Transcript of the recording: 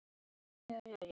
Hann gerði ekki neitt.